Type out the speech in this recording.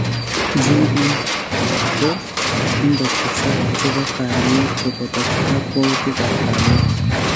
GM = Ingotesak che po kaalyeet kobooto kakwautigap kaalyeet